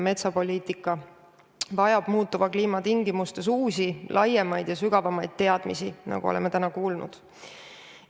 Metsapoliitika vajab muutuva kliima tingimustes uusi, laiemaid ja sügavamaid teadmisi, nagu oleme ka täna kuulnud.